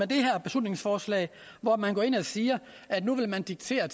det her beslutningsforslag hvor man går ind og siger at nu vil man diktere